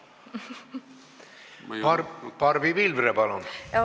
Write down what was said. Barbi Pilvre, palun!